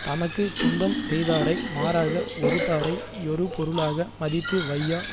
தமக்கு துன்பஞ் செய்தாரை மாறாக ஒறுத்தாரை யொரு பொருளாக மதித்து வையார்